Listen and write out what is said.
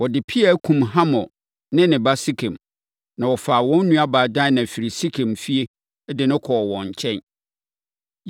Wɔde pea kumm Hamor ne ne ba Sekem, na wɔfaa wɔn nuabaa Dina firii Sekem fie de no kɔɔ wɔn nkyɛn.